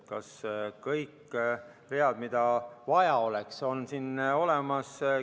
Kas kõik read, mida vaja oleks, on siin olemas?